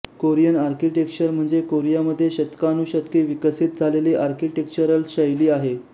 Korean architecture म्हणजे Korea मध्ये शतकानुशतके विकसित झालेली आर्किटेक्चरल शैली आहे